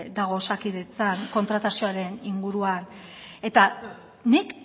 dago osakidetzan kontratazioaren inguruan eta nik